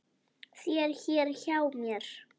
þér hér hjá mér